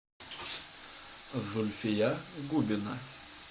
зульфия губина